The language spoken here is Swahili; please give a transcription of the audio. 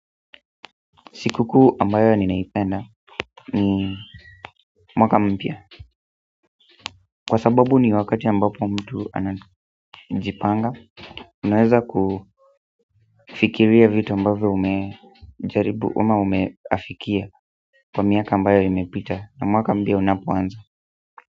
Siku kuu ambayo ninaipenda ni mwaka mpya kwa sababu ni wakati ambapo mtu anajipanga unaweza kufikiria vitu ambayo umejaribu ama umeafikia kwa miaka ambayo imepita na mwaka mpya unapoanza.